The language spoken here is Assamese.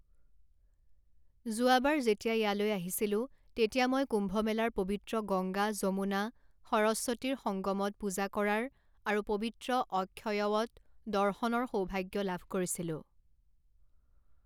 যোৱাবাৰ যেতিয়া ইয়ালৈ আহিছিলো তেতিয়া মই কুম্ভমেলাৰ পবিত্ৰ গংগা যমুনা সৰস্বতীৰ সংগমত পূজা কৰাৰ আৰু পবিত্ৰ অক্ষয়ৱট দৰ্শনৰ সৌভাগ্য লাভ কৰিছিলো।